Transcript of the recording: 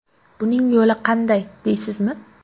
Buning yo‘li qanday deysizmi?